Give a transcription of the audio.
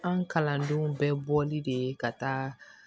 Anw kalandenw bɛ bɔli de ka taa